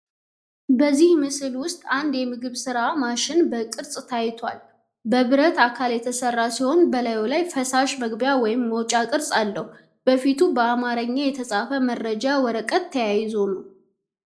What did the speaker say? በዚህ ምስል ውስጥ አንድ የምግብ ሥራ ማሽን በቅርጽ ታይቷል። በብረት አካል የተሠራ ሲሆን፣ በላዩ የፈሳሽ መግቢያ ወይም መውጫ ቅርጽ አለው። በፊቱ በአማርኛ የተጻፈ የመረጃ ወረቀት ተያይዞ ነው።